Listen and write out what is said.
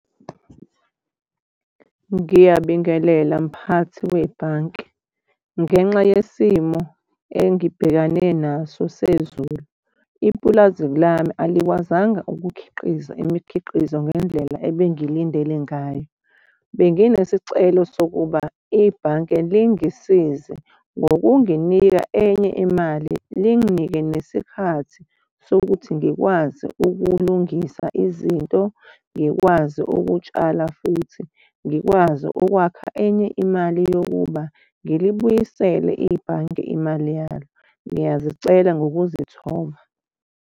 Ngiyabingelela mphathi webhanki. Ngenxa yesimo engibhekane naso sezulu ipulazi lami alikwazanga ukukhiqiza imikhiqizo ngendlela ebengilindele ngayo. Benginesicelo sokuba ibhanke lingisize ngokunginika enye imali linginike nesikhathi sokuthi ngikwazi ukulungisa izinto. Ngikwazi ukutshala futhi, ngikwazi ukwakha enye imali yokuba ngilibuyisele ibhange imali yalo. Ngiyazicela ngokuzithoba.